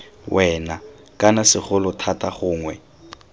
wena kana segolo thata gongwe